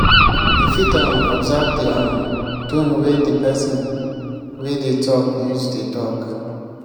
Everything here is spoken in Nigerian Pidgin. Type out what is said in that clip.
you fit um observe di um tone wey di person wey dey talk use dey talk